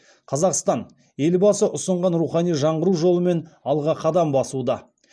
қазақстан елбасы ұсынған рухани жаңғыру жолымен алға қадам басуда